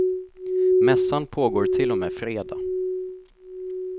Mässan pågår till och med fredag.